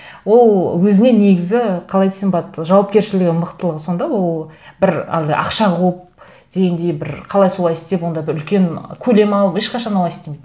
ол өзіне негізі қалай десем болады жауапкершілігі мықтылығы сондай ол бір әлгі ақша қуып дегендей бір қалай солай істеп ондай бір үлкен көлем алып ешқашан олай істемейді